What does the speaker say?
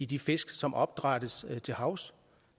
de fisk som opdrættes til havs